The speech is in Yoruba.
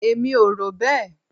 Èmi ò rò bẹ́ẹ̀.